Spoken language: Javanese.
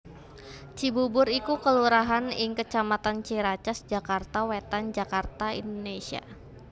Cibubur iku kelurahan ing kecamatan Ciracas Jakarta Wétan Jakarta Indonésia